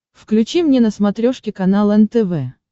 включи мне на смотрешке канал нтв